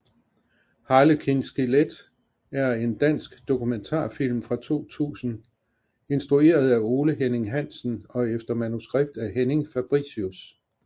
Harlekin skelet er en dansk dokumentarfilm fra 2000 instrueret af Ole Henning Hansen og efter manuskript af Henrik Fabricius